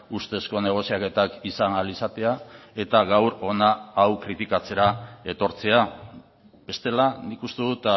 ustezko negoziaketak izan ahal izatea eta gaur hona hau kritikatzera etortzea bestela nik uste dut